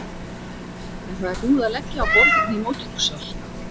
En það er búið að leggja á borð inni í móttökusal.